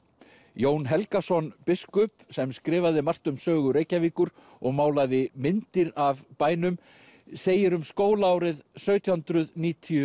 Jón Helgason biskup sem skrifaði margt um sögu Reykjavíkur og málaði myndir af bænum segir um skólaárið sautján hundruð níutíu